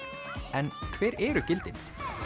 en hver eru gildin